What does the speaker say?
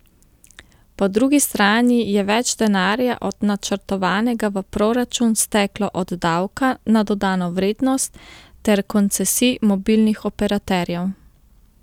Po drugi strani je več denarja od načrtovanega v proračun steklo od davka na dodano vrednost ter koncesij mobilnih operaterjev.